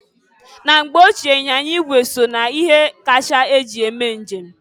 Na mgbe ochie, anyịnya ịgwe so na ihe akacha eji eme njem.